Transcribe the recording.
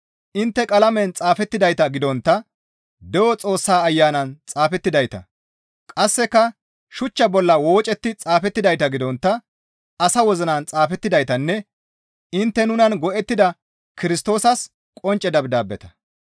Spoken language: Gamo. Intte qalamen xaafettidayta gidontta de7o Xoossaa Ayanan xaafettidayta; qasseka shuchcha bolla woocetti xaafettidayta gidontta asa wozinan xaafettidaytanne intte nunan go7ettida Kirstoosas qoncce dabdaabeta.